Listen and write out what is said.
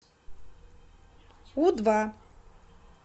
у два